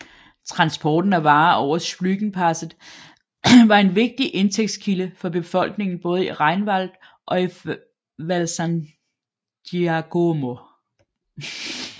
Transport af varer over Splügenpasset var en vigtig indtægtskilde for befolkningen både i Rheinwald og i Val San Giacomo